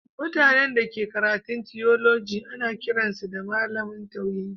Mutane da ke karatun tiyoloji ana kiran su Mallam tauhidi